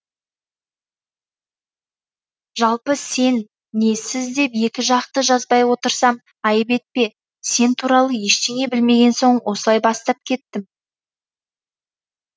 жалпы сен не сіз деп екі жақты жазбай отырсам айып етпе сен туралы ештеңе білмеген соң осылай бастап кеттім